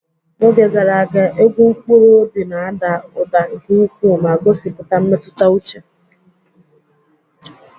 N'oge gara aga, egwu mkpụrụ obi na-ada ụda nke ukwuu ma gosipụta mmetụta uche.